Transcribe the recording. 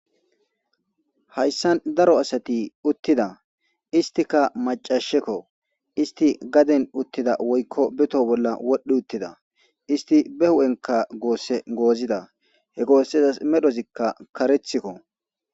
hayssan daro asati uttida istika macashekko isti gaden uttida woykko beto bolla wodhdhi uttida isti be hu7enka goosse goozida he goossezas medhozikka karethikko